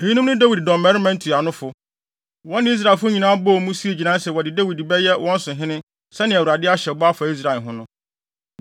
Eyinom ne Dawid dɔmmarima ntuanofo. Wɔne Israel nyinaa bɔɔ mu, sii gyinae sɛ wɔde Dawid bɛyɛ wɔn so hene sɛnea Awurade ahyɛ bɔ afa Israel ho no.